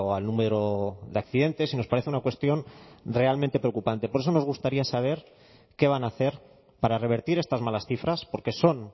al número de accidentes y nos parece una cuestión realmente preocupante por eso nos gustaría saber qué van a hacer para revertir estas malas cifras porque son